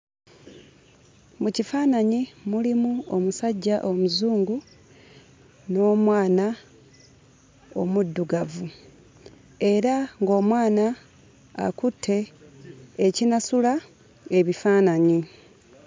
Mu kifaananyi mulimu omusajja Omuzungu n'omwana omuddugavu, era ng'omwana akutte ekinasula ebifaananyi.